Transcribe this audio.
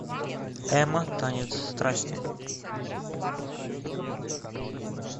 эмма танец страсти